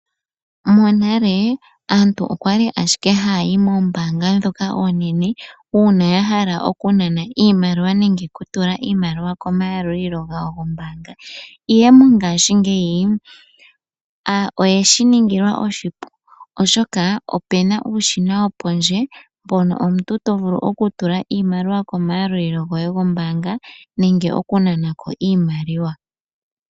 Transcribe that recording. Monale aantu okwali aahike ha yayi mombaanga ndhoka oonene uuna ya hala okunana nenge okutula iimaliwa komayalulilo gawo gombaanga. Mongashingeyi oyeshi ningilwa oshipu mpono omuntu to vulu okutula nenge okunana iimaliwa komayalulilo goye gombaanga.